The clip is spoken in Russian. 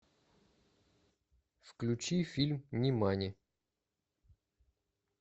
включи фильм нимани